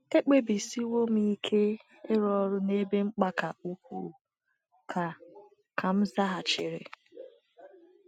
“ Ekpebisiwo m ike ịrụ ọrụ n’ebe mkpa ka ukwuu, ” ka ka m zaghachiri.